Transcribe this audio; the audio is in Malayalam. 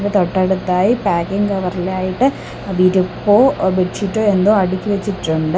തൊട്ടടുത്തായി പാക്കിംഗ് കവറി ലായിട്ട് വിരിപ്പോ ബെഡ്ഷീറ്റോ എന്തോ അടുക്കി വെച്ചിട്ടുണ്ട്.